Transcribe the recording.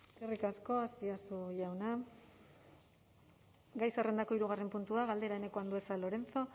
eskerrik asko azpiazu jauna gai zerrendako hirugarren puntua galdera eneko andueza lorenzo